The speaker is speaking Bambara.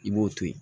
I b'o to yen